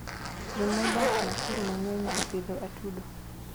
Jomodak Nakuru mangeny japidho atudo